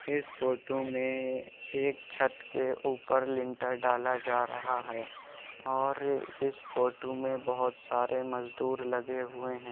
इस फोटू में एक छत के ऊपर लिंटर डाला जा रहा है और इस फोटू में बहुत सारे मजदूर लगे हुए हैं।